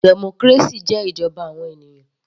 Democracy jẹ́ ìjọba àwọn ènìyàn.